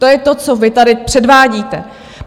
To je to, co vy tady předvádíte.